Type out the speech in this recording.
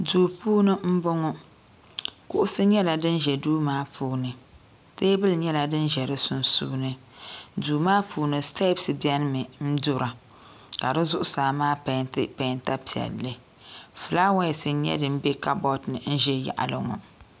Duu puuni m boŋɔ kuɣusi nyɛla din ʒɛ duu maa puuni teebuli nyɛla din ʒɛ di sunsuuni duu maa puuni sitepsi biɛni mi dura ka di zuɣusaa maa penti penta piɛlli filaawaasi nyɛ din be kabori ni n ʒɛ yaɣali ŋɔ.